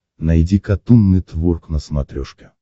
найди катун нетворк на смотрешке